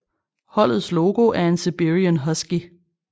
Holdets logo er en Siberian Husky